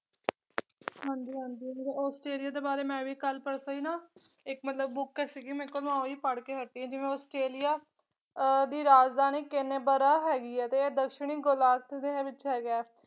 ਹਾਂਜੀ ਹਾਂਜੀ ਆਸਟ੍ਰੇਲੀਆ ਦੇ ਬਾਰੇ ਮੈਂ ਵੀ ਕੱਲ ਪਰਸੋ ਹੀ ਨਾ ਇੱਕ ਮਤਲਬ book ਸੀਗੀ ਮੇਰੇ ਕੋਲ ਮੈਂ ਉਹੀ ਪੜ੍ਹਕੇ ਹਟੀ ਆ ਜਿਵੇਂ ਆਸਟ੍ਰੇਲੀਆ ਅਹ ਦੀ ਰਾਜਧਾਨੀ ਕੈਨਬਰਾ ਹੈਗੀ ਆ ਤੇ ਇਹ ਦੱਖਣੀ ਦੇ ਵਿੱਚ ਹੈਗਾ